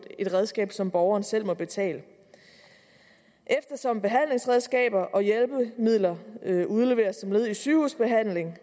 et redskab som borgeren selv må betale eftersom behandlingsredskaber og hjælpemidler udleveres som led i en sygehusbehandling